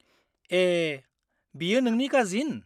ए, बियो नोंनि काजिन?